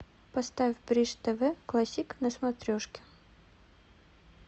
поставь бридж тв классик на смотрешке